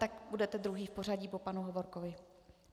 Tak budete druhý v pořadí po panu Hovorkovi.